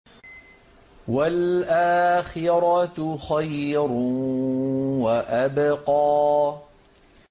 وَالْآخِرَةُ خَيْرٌ وَأَبْقَىٰ